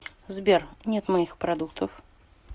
сбер нет моих продуктов